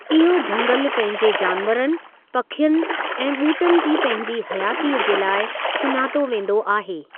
इहो झंगलु पहिंजे जानवरनि, पखियुनि ऐं ॿूटनि जी पंहिंजी हयातीअ जे लाइ सुञातो वेंदो आहे।